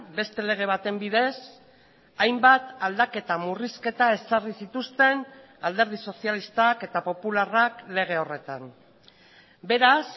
beste lege baten bidez hainbat aldaketa murrizketa ezarri zituzten alderdi sozialistak eta popularrak lege horretan beraz